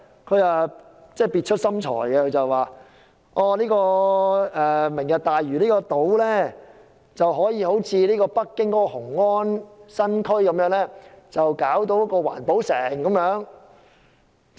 他相當別出心裁，表示可以將"明日大嶼"人工島建設成像北京雄安新區一個環保城。